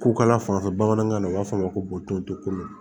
Ko kala fan fɛ bamanankan na u b'a fɔ a ma ko tontɔ komi